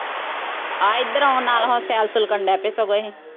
ਆ ਇੱਧਰ ਆਉਣ ਨਾਲ ਹੁਣ ਸੈਰ-ਸੂਰ ਕਰਨ ਡ ਪਏ ਸਗੋਂ ਇਹ